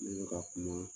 Ne bɛ ka kuma